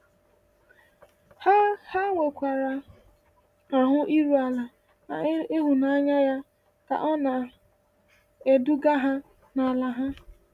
Ha Ha nwekwara ahụ iru ala n’ịhụnanya ya ka ọ na-eduga ha n’ala ha.